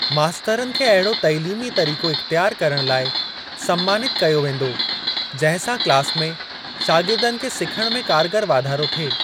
मास्तरनि खे अहिड़ो तइलीमी तरीको इख़्तियार करण लाइ सन्मानित कयो वेंदो, जंहिं सां क्लास में शागिर्दनि खे सिखण में कारगर वाधारो थिए।